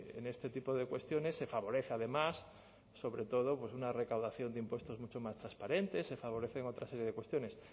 en este tipo de cuestiones se favorece además sobre todo una recaudación de impuestos mucho más transparentes se favorecen otra serie de cuestiones